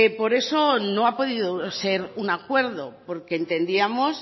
por eso no ha podido ser un acuerdo porque entendíamos